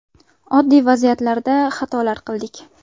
Oddiy vaziyatlarda xatolar qildik.